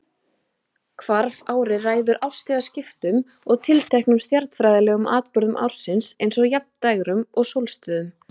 Hvarfárið ræður árstíðaskiptum og tilteknum stjarnfræðilegum atburðum ársins eins og jafndægrum og sólstöðum.